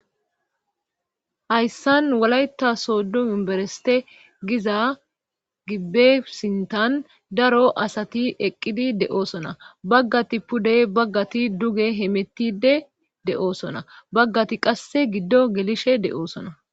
hayssan walayita soodo unibereste giza gibbe sintan daro asati eqqidi de7oosona baggati pude baggati duge hemettide de7oosona baggati qasse giddo gelishe de7oosona